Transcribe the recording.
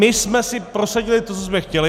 My jsme si prosadili to, co jsme chtěli.